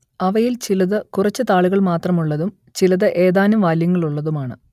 അവയിൽ ചിലത് കുറച്ച് താളുകൾ മാത്രം ഉള്ളതും ചിലത് ഏതാനും വാല്യങ്ങൾ ഉള്ളതുമാണ്